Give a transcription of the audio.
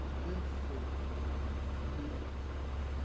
Dancei. É?